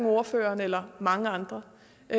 ordføreren eller mange andre